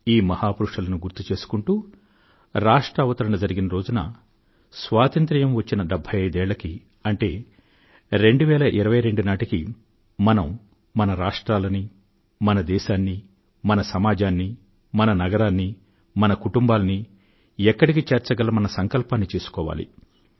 ఈ మహాపురుషులను జ్ఞప్తికి తెచ్చుకొంటూ రాష్ట్ర అవతరణ జరిగిన రోజున స్వాతంత్ర్యం వచ్చిన డెభ్భై ఐదేళ్ళకు అంటే 2022 నాటికి మనం మన రాష్ట్రాలనూ మన దేశాన్నీ మన సమాజాన్నీ మన నగరాన్నీ మన కుటుంబాలనీ ఎక్కడికి చేర్చగలమన్న సంకల్పాన్ని చేసుకోవాలి